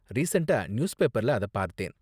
ரீசண்ட்டா நியூஸ்பேப்பர்ல அத பார்த்தேன்.